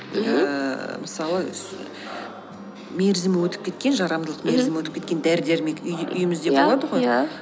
ііі мысалы мерзімі өтіп кеткен жарамдылық мерзімі өтіп кеткен дәрі дәрмек үйіміздегі болады ғой иә иә